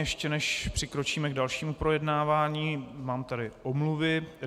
Ještě než přikročíme k dalšímu projednávání, mám tady omluvy.